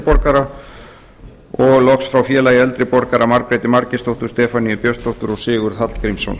borgara og frá félagi eldri borgara margréti margeirsdóttur stefaníu björnsdóttur og sigurð hallgrímsson